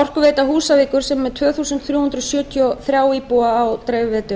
orkuveita húsavíkur sem er með tvö þúsund þrjú hundruð sjötíu og þrjá